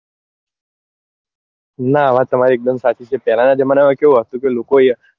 નાં વાત તમરી એક દમ સાચી છે પેલા નાં જમાના માં કેવું હતું કે લોકો